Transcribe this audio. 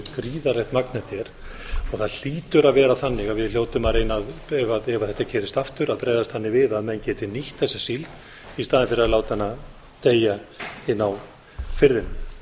gríðarlegt magn þetta er það hlýtur að vera þannig að við hljótum að reyna ef þetta gerist aftur að bregðast þannig við að menn geti nýtt þessa síld í staðinn fyrir að láta hana deyja inni á firðinum